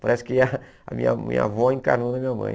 Parece que a a minha minha avó encarnou na minha mãe.